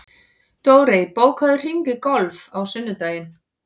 Dórey, bókaðu hring í golf á sunnudaginn.